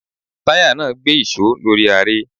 Táyà náà gbé ìṣó lórí aré.